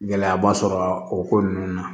Gɛlɛyaba sɔrɔ a ko nunnu na